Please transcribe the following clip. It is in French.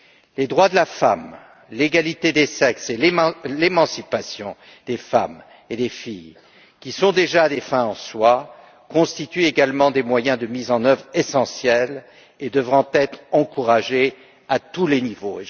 Les droits de la femme, l'égalité des sexes, l'émancipation des femmes et des filles, qui sont déjà une finalité en soi, constituent des moyens de mise en œuvre essentiels et devront être encouragés à tous les niveaux.